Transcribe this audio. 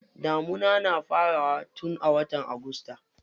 Damuna na farawa tun watan agusta.